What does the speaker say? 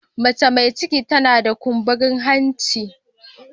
Mace mai ciki tana da kumburin hanci.